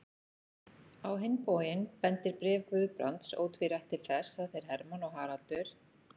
Á hinn bóginn bendir bréf Guðbrands ótvírætt til þess, að þeir Hermann og Haraldur